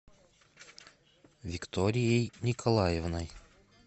викторией николаевной